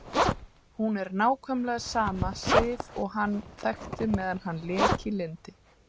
Hún er nákvæmlega sama Sif og hann þekkti meðan allt lék í lyndi.